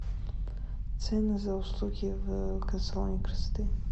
цены за услуги в салоне красоты